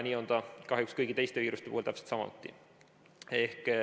Nii on see kahjuks kõigi teiste viiruste puhul täpselt samuti.